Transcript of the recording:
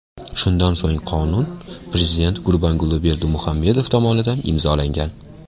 Shundan so‘ng qonun prezident Gurbanguli Berdimuhamedov tomonidan imzolangan.